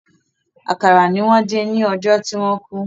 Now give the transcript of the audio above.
Àkàrà ni wọ́n dín lọ́jọ́ tí wọ́n kú.